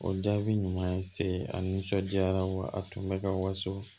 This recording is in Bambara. O jaabi ɲuman ye se a nisɔndiyara wa a tun bɛ ka waso